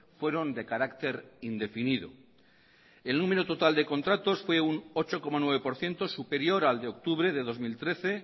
fueron de carácter indefinido el número total de contratos fue un ocho coma nueve por ciento superior al de octubre de dos mil trece